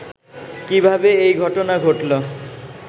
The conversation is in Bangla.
কিভাবে এই ঘটনা ঘটলো